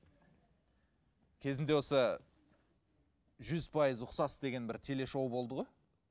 кезінде осы жүз пайыз ұқсас деген бір телешоу болды ғой